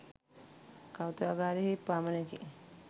කෞතුකාගාරයන් හි පමණකි.